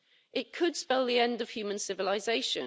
It could spell the end of human civilization.